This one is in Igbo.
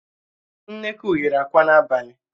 Nnekwu yiri àkwá n'abalị